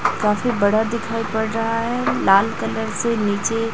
काफी बड़ा दिखाई पड़ रहा है लाल कलर से नीचे--